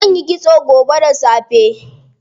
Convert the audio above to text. Zanyi kitso gobe da safe.